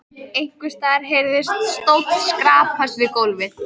Einhvers staðar heyrðist stóll skrapast við gólf.